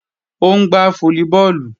Ó ń gbá fólíbọọ̀lù